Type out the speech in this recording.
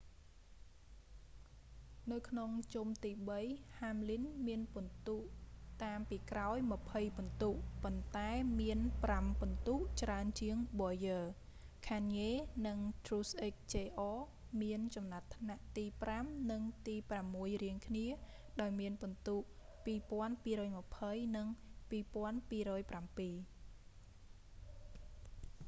នៅក្នុងជុំទីបី hamlin មានពិន្ទុតាមពីក្រោយម្ភៃពិន្ទូ ប៉ុន្តែមានប្រាំពិន្ទុច្រើនជាង bowyer kahne និង truex jr មានចំណាត់ថ្នាក់ទីប្រាំនិងទីប្រាំមួយរៀងគ្នា ដោយមានពិន្ទុ 2,220 និង 2,207